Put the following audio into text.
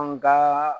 An ka